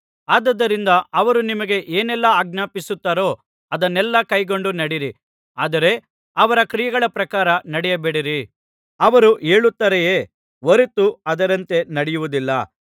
ಆದುದರಿಂದ ಅವರು ನಿಮಗೆ ಏನೆಲ್ಲಾ ಆಜ್ಞಾಪಿಸುತ್ತಾರೋ ಅದನ್ನೆಲ್ಲಾ ಕೈಕೊಂಡು ನಡೆಯಿರಿ ಆದರೆ ಅವರ ಕ್ರಿಯೆಗಳ ಪ್ರಕಾರ ನಡೆಯಬೇಡಿರಿ ಅವರು ಹೇಳುತ್ತಾರೆಯೇ ಹೊರತು ಅದರಂತೆ ನಡೆಯುವುದಿಲ್ಲ